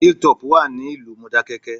Hill Top Hotel wà ní ìlú Mọdákẹ́kẹ́